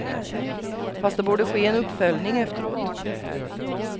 Fast det borde ske en uppföljning efteråt.